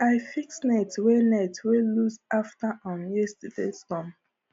i fix net wey net wey loose after um yesterdays storm